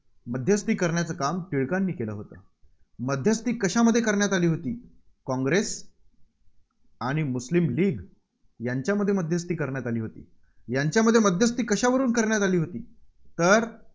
मध्यस्थी करण्याचं काम टिळकांनी केलं होतं. मध्यस्थी कशामध्ये करण्यात आली होती काँग्रेस आणि मुस्लिम लीग यांच्यामध्ये मध्यस्थी करण्यात आली होती. यांच्यामध्ये मध्यस्थी कशावरून करण्यात आली होती? तर